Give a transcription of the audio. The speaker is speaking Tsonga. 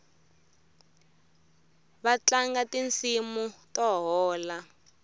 vatlanga tinsimu to hola